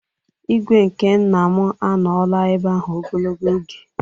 ígwè nke nna m anọọla ebe ahụ ogologo oge